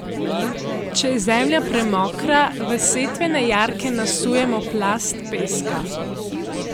Če je zemlja premokra, v setvene jarke nasujemo plast peska.